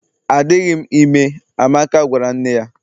Adịghị m ime, Amaka gwara nne ya